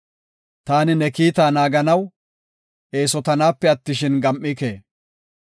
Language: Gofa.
Taani ne kiita naaganaw, eesotanaape attishin, gam7ike.